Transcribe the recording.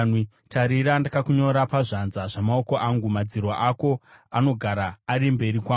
Tarira, ndakakunyora pazvanza zvamaoko angu; madziro ako anogara ari mberi kwangu.